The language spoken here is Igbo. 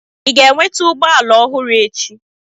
Ị ga-enweta ụgbọ ala ọhụrụ echi?